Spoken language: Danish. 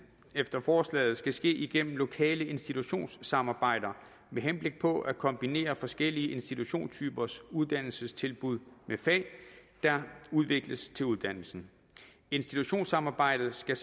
efter forslaget ske ske gennem lokale institutionssamarbejder med henblik på at kombinere forskellige institutionstypers uddannelsestilbud med fag der udvikles til uddannelsen institutionssamarbejdet skal